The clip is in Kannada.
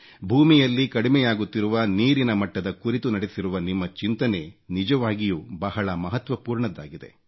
ಭೂಮಿಯಲ್ಲಿ ಕಡಿಮೆಯಾಗುತ್ತಿರುವ ನೀರಿನ ಮಟ್ಟದ ಕುರಿತು ನಡೆಸಿರುವ ನಿಮ್ಮ ಚಿಂತನೆ ನಿಜವಾಗಿಯೂ ಬಹಳ ಮಹತ್ವಪೂರ್ಣದ್ದಾಗಿದೆ